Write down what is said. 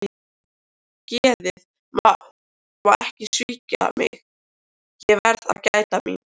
Geðið má ekki svíkja mig, ég verð að gæta mín.